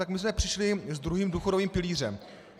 Tak my jsme přišli s druhým důchodovým pilířem.